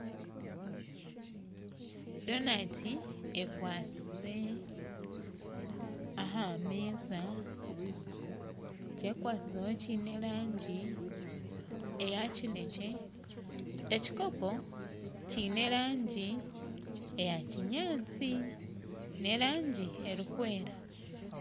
Donati ekwasize aha meeza ekikwasizeho kiine erangi eya kinekye ekikopo kiine erangi eya kinyatsi n'erangi erikwera